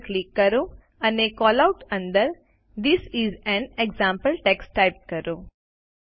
double click કરો અને callout અંદર this is an example text type કરો